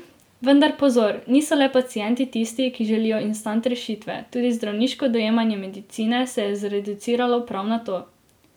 Vendar pozor, niso le pacienti tisti, ki želijo instant rešitve, tudi zdravniško dojemanje medicine se je zreduciralo prav na to!